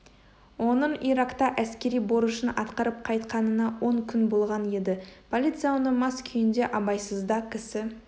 оның иракта әскери борышын атқарып қайтқанына он күн болған еді полиция оны мас күйінде абайсызда кісі